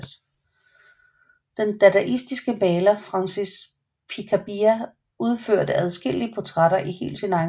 Den dadaistiske maler Francis Picabia udførte adskillige portrætter i helt sin egen stil